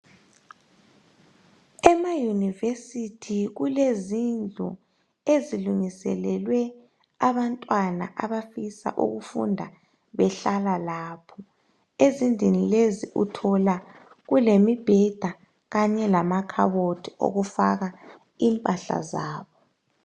Emaunivesithi kulezindlu ezilungiselelwe abantwana abafisa ukufunda behlala lapho. Ezindlini lezi uthola kulemibheda Kanye lamakhabothi okufaka impahla zabo .